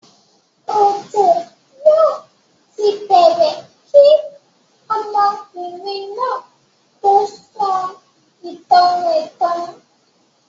Òjo yóò ti bẹ̀ẹ̀rẹ̀ kí ọmọbìnrin náà tó sọ ìtàn rẹ̀ tán.